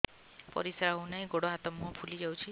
ପରିସ୍ରା ହଉ ନାହିଁ ଗୋଡ଼ ହାତ ମୁହଁ ଫୁଲି ଯାଉଛି